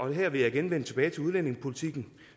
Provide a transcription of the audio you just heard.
her vil jeg igen vende tilbage til udlændingepolitikken